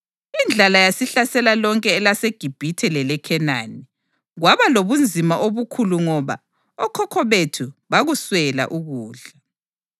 Indlala yasihlasela lonke elaseGibhithe leleKhenani, kwaba lobunzima obukhulu ngoba okhokho bethu bakuswela ukudla.